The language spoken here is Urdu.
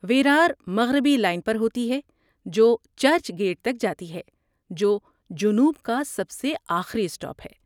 ویرار مغربی لائن پر ہوتی ہے جو چرچ گیٹ تک جاتی ہے، جو جنوب کا سب سے آخری اسٹاپ ہے۔